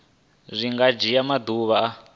zwi nga dzhia maḓuvha a